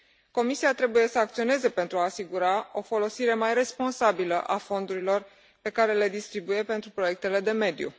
Comisia trebuie să acționeze pentru a asigura o folosire mai responsabilă a fondurilor pe care le distribuie pentru proiectele de mediu.